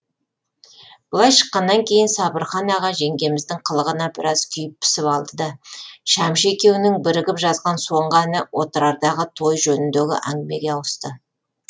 былай шыққаннан кейін сабырхан аға жеңгеміздің қылығына біраз күйіп пісіп алды да шәмші екеуінің бірігіп жазған соңғы әні отырардағы той жөніндегі әңгімеге ауысты